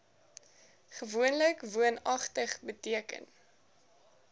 gewoonlik woonagtig beteken